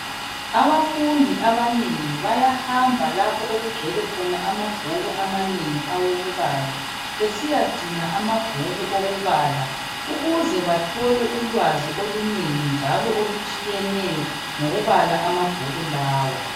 Abafundi abanengi bayahamba lapho okugcwele khona amabhuku amanengi okubala, besiyadinga amabhuku okubala ukuze bathole ulwazi olunengi njalo okutshiyeneyo ngokubala amabhuku lawa.